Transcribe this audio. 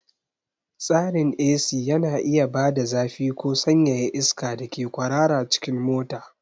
Tsarin AC yana iya bada zafi ko sanyaya iska da ke kwarara cikin mota.